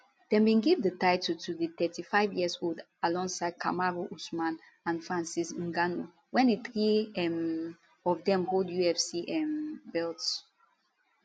dem bin give di title to di 35yearold alongside kamaru usman and francis ngannou wen di three um of dem hold ufc um belts